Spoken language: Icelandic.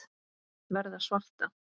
Verða svarta.